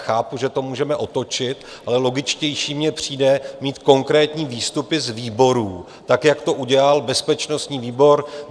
Chápu, že to můžeme otočit, ale logičtější mi přijde mít konkrétní výstupy z výborů tak, jak to udělal bezpečnostní výbor.